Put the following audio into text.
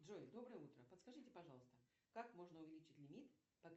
джой доброе утро подскажите пожалуйста как можно увеличить лимит